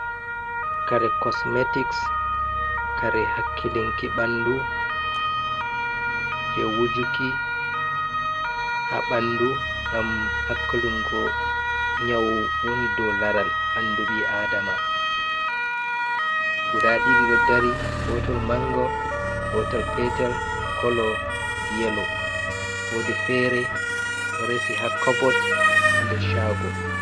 Kare cosmetics kare hakkilinki ɓandu je wujuki ha ɓandu gam hakkilingo nyau woni dou laral ɓandu ɓi adama, guda ɗiɗi ɗo dari gotol mango gotel petel kolo yelo wodi fere ɗo resi ha cobot ha nder chago.